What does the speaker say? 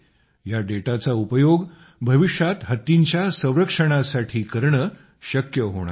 या डेटाचा उपयोग भविष्यात हत्तींच्या संरक्षणासाठी करणं शक्य होणार आहे